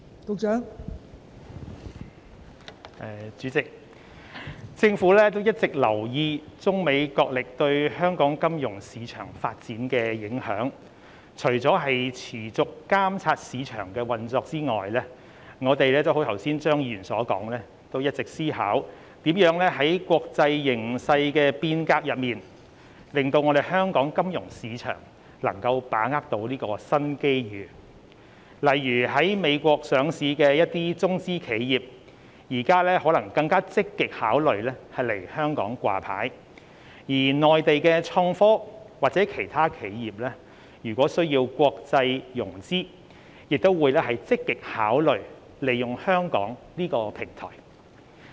代理主席，政府一直有留意中美角力對香港金融市場發展的影響，除了持續監察市場運作外，政府亦如剛才張議員所說，一直思考如何在國際格局的變動中，讓香港金融市場能夠把握新機遇，例如一些在美國上市的中資企業，現時可能會更加積極考慮來港上市，而內地的創科企業或其他企業如果需要在國際上融資，亦會積極考慮利用香港這個平台。